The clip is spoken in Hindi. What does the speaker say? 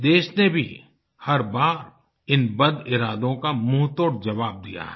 देश ने भी हर बार इन बदइरादों का मुंहतोड़ जवाब दिया है